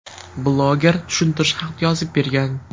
Bloger tushuntirish xati yozib bergan.